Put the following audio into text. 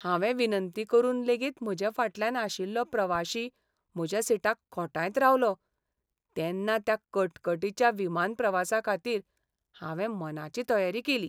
हांवें विनंती करून लेगीत म्हजे फाटल्यान आशिल्लो प्रवाशी म्हज्या सिटाक खोंटायत रावलो तेन्ना त्या कटकटीच्या विमानप्रवासाखातीर हांवें मनाची तयारी केली.